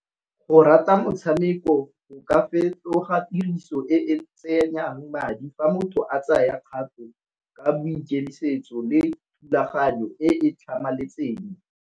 Go rata motshameko o ka fetoga tiriso e tsenyang madi fa motho a tsaya kgato ka boikemisetso le thulaganyo e tlhamaletseng.